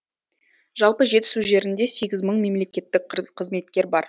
жалпы жетісу жерінде сегіз мың мемлекеттік қызметкер бар